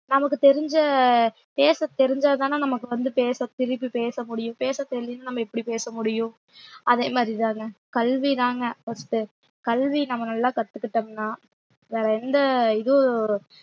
நமக்கு தெரிஞ்ச பேச தெரிஞ்சாதான நமக்கு வந்து பேச திருப்பி பேச முடியும் பேச தெரியலைன்னா நம்ம எப்படி பேச முடியும் அதே மாதிரிதாங்க கல்விதாங்க first கல்வி நம்ம நல்லா கத்துக்கிட்டோம்ன்னா வேற எந்த இதுவும்